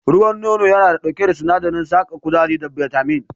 Ruwan nono yana ɗauke da sinadarin saka kuzari da na bitamin.